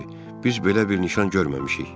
Biz belə bir nişan görməmişik.